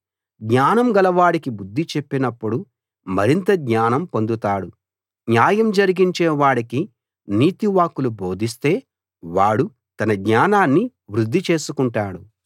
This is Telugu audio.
జ్ఞానం గలవాడికి బుద్ధి చెప్పినప్పుడు మరింత జ్ఞానం పొందుతాడు న్యాయం జరిగించే వాడికి నీతి వాక్కులు బోధిస్తే వాడు తన జ్ఞానాన్ని వృద్ధి చేసుకుంటాడు